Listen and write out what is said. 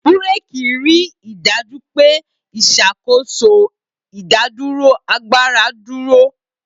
Bureki rí i dájú pé ìṣàkóso ìdádúró agbára dúró.